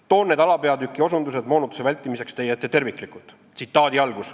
Toon need alapeatükid moonutuste vältimiseks teie ette terviklikult. "